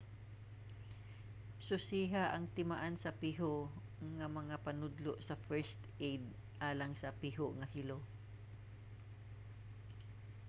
susiha ang timaan sa piho nga mga panudlo sa first aid alang sa piho nga hilo